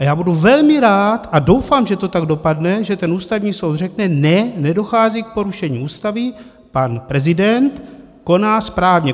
A já budu velmi rád, a doufám, že to tak dopadne, že ten Ústavní soud řekne ne, nedochází k porušení Ústavy, pan prezident koná správně.